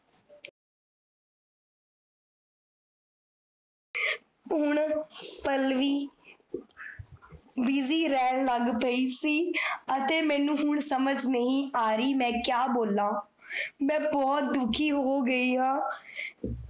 ਹੁਣ ਪਲ੍ਲਵੀ busy ਰਹਨ ਲਾਗ ਪੀ ਸੀ, ਅਤੇ ਮੇਨੂ ਹੁਣ ਸਮਝ ਨਹੀ ਆ ਰਹੀ, ਮੈ ਕ੍ਯਾ ਬੋਲਾਂ ਮੈਂ ਬੋਹੋਤ ਦੁਖੀ ਹੋ ਗਈ ਹਾਂ